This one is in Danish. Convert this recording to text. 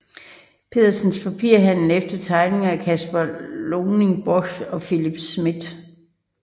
Petersens Papirhandel efter tegninger af Caspar Leuning Borch og Philip Smidth